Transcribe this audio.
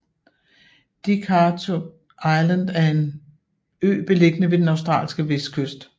Dirk Hartog Island er en ø beliggende ved den australske vestkyst